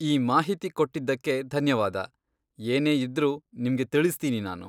ಈ ಮಾಹಿತಿ ಕೊಟ್ಟಿದ್ದಕ್ಕೆ ಧನ್ಯವಾದ, ಏನೇ ಇದ್ರೂ ನಿಮ್ಗೆ ತಿಳಿಸ್ತೀನಿ ನಾನು.